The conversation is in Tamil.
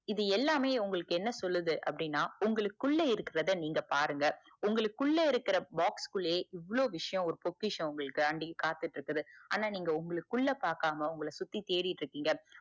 இது எல்லாமே உங்களுக்கு என்ன சொல்லுது அப்படினா உங்களுக்குள்ள இருக்குறத நீங்க பாருங்க உங்களுக்கு இருக்குற box க்குல்லையே இவ்ளோ விசயம் பொக்கிஷம் உங்களுக்காண்டி காத்திட்டு இருக்கு ஆனா நீங்க உங்களுக்குஉள்ள பாக்காம உங்கள சுத்தி தேடிக்கிட்டு இருக்கீங்க